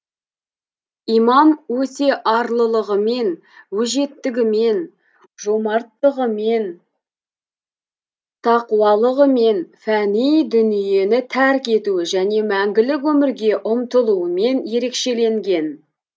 имам өте арлылығымен өжеттігімен жомарттығымен тақуалығымен фәни дүниені тәрк етуі және мәңгілік өмірге ұмтылуымен ерекшеленген